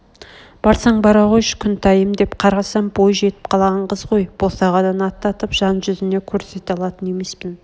барсаң бара қойшы күнтайым деп қарасам бой жетіп қалған қыз ғой босағадан аттатып жан жүзіне көрсете алатын емеспін